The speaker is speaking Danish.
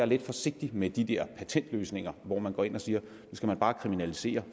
lidt forsigtig med de der patentløsninger hvor man går ind og siger at nu skal der bare kriminaliseres